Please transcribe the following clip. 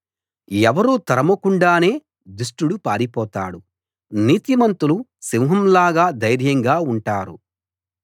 ఎవరూ తరుమకుండానే దుష్టుడు పారిపోతాడు నీతిమంతులు సింహం లాగా ధైర్యంగా ఉంటారు